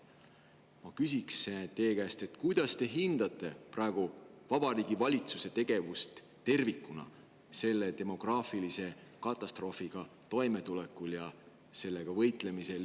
Ma küsin teie käest, kuidas te hindate praegu Vabariigi Valitsuse tegevust tervikuna selle demograafilise katastroofiga toimetulekul ja sellega võitlemisel.